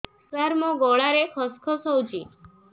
ସାର ମୋ ଗଳାରେ ଖସ ଖସ ହଉଚି